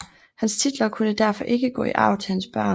Hans titler kunne derfor ikke gå i arv til hans børn